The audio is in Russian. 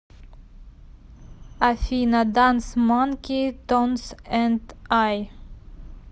афина данс манки тонс энд ай